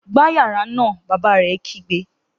Gbá yàrá náà! Bàbá rẹ̀ kígbe